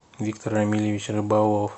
виктор рамильевич рыбалов